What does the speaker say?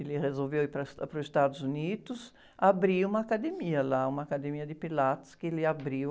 Ele resolveu ir para, para os Estados Unidos, abrir uma academia lá, uma academia de Pilates que ele abriu.